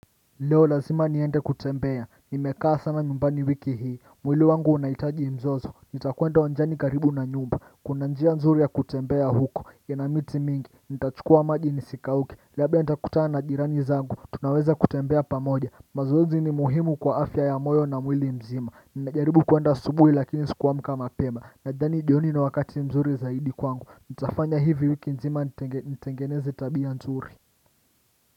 Leo lazima niende kutembea nimekaa sana nyumbani wiki hii mwili wangu unaitaji mzozo nitakwenda uwanjani karibu na nyumba kuna njia nzuri ya kutembea huko ya na miti mingi nitachukua maji ni sikauke labda nitakutana na jirani zangu tunaweza kutembea pamoja mazoezi ni muhimu kwa afya ya moyo na mwili mzima ninajaribu kwenda asubuhi lakini sikuamka mapema nadhani jioni ni wakati mzuri zaidi kwangu nitafanya hivi wiki nzima nitengeneze tabia nzuri.